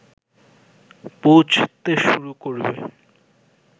পৌঁছতে শুরু করবে